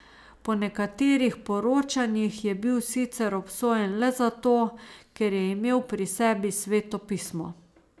Po nekaterih poročanjih je bil sicer obsojen le zato, ker je imel pri sebi Sveto pismo.